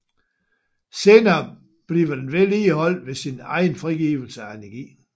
Senere bliver den vedligeholdt ved sin egen frigivelse af energi